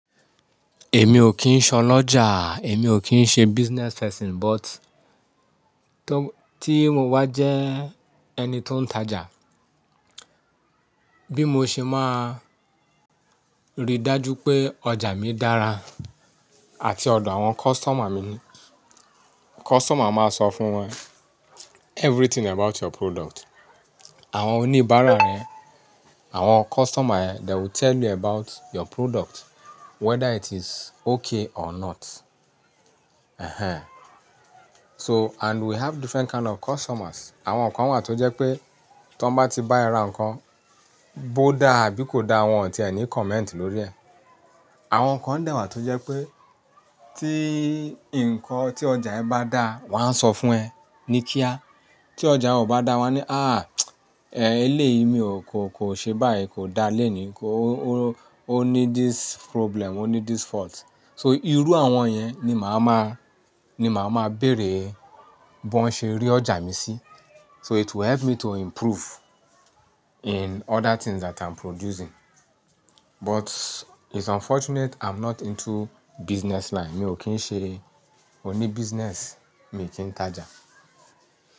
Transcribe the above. Èmi ò kí ń ṣọ lọ́jà, èmi ò kí ń ṣe business person but tó, tí mo bá jẹ́ ẹni tó ń tajà, bí mo ṣe máa rí dájú pé ọjà mi dára àti ọ̀dọ̀ àwọn customer mi ni. Customer máa sọ fún ẹ everything about your product. Àwọn oníbàárà rẹ, àwọn customer ẹ, they will tell you about your product whether it is okay or not. Ehen. So and we have different kind of customers. Àwọn kan wà tó jẹ́ pé tí wọ́n bá ti bá ẹ ra nǹkan, bó dá àbí kò dá wọn ò ti ẹ ní comment lórí ẹ̀. Àwọn kan dẹ̀bwá tó jẹ́ pé tí nǹkan tí ọjà ẹ bá dá, wọ́n á sọ fún ẹ ní kíá. Tí ọjà ọ bá dá wọ́n á ní, "àh! Ehlé yìí mi ò kó, kò ṣe báyìí, kò dá léèní, kó, ó, ó ní this problem, ó ní this fault." So irú àwọn yẹn ni màá máa, ni màá máa béèrè bó ń ṣe rí ọjà mi sí. So it will help me to improve in other things that I'm producing. But it's unfortunate I'm not into business line. Mi ò kí ń ṣe oníbíṣínẹ̀sì, mi ò kí ń tajà.